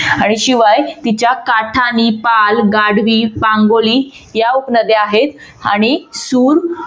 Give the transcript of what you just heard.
आणि शिवाय तिच्या काठानी, पाल, गाढवी, पांगोली या उपनद्या आहेत. आणि सूर